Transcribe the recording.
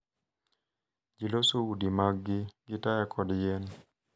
Ji loso udi maggi gi taya kod yien,